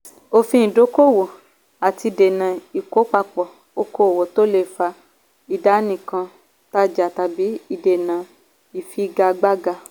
òfin ìdókòwò - òfin láti dènà ìkópapọ̀ okòwò tó lè fa ìdánìkan-tajà tàbí ìdènà ìfigagbága.